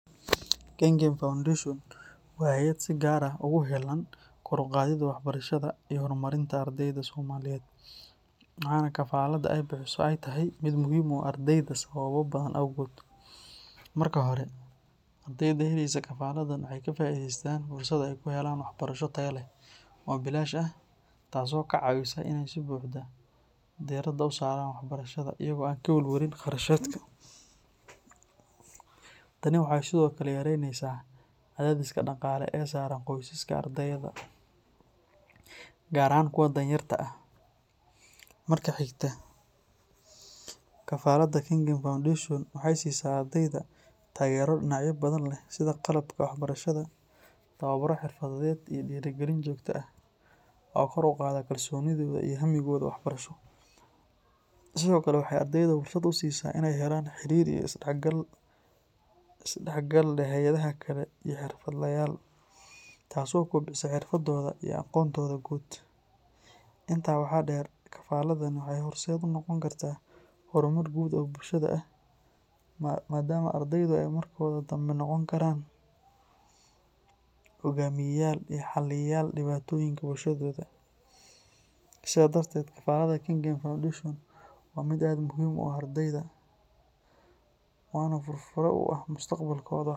Kengen foundation waa hayad si gaar ah ogu heelan kor uqaadid wahbarashada iyo hormarinta ardeyda somaliyeed. Waxana kafaalada ey bixiso ey tahy mid muhiim uah ardeyda oo ogubahan awgood. Marka hore, ardeyda heleysa kafaaladan waxey kafaaideystaan fursad ey kuhelaan wahxbarasho tayo leh oo bilaash ah taaso kacaawisa in sibuuxda derada usaraan waxbarashada iyago an kawalwalin qarashaadka. Tani waxey sidokale yareynesa cadhadhiska daqaale ee saran qoysaska ardeyda gaar ahaan kuwa danyeerka ah. Marka xigta kafalada Kiengen foundation waxeysisaa ardeyda taagera dinacaya badan leh sida qalabka waxbarashada awuura xirfadeed iyo dirigalin jirta ah oo kor uqaada kalsonida iyo hamigooda wax barasho. Sidoo kale waxey ardeyda fursad usiisa in ey helaan xiriir iyo isdaxgal hayada kale iyo xirfadle yaal, taaso kobcisa xirfadooda iyo aqoontoda guud. Intaa waxaa deer kafaaladan waxey horseed unoqon kartaa hormud guud oo bulshada ah madama ardeyda e markoda dambe noqon karaan hogaamiya yal iyo xaliyayal dibaatonyinka bulshadoda sida darteed kafalada Kengen foundation waa mid aad muhiim uah ardeyda wana fursada uah mustaqbalkooda.